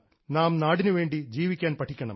നാം നാടിനുവേണ്ടി ജീവിക്കാൻ പഠിക്കണം